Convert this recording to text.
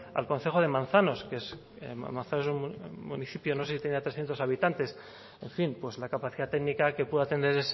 al concejo de manzanos manzanos es un municipio que no sé si tendrá trescientos habitantes en fin pues la capacidad técnica que pueda tener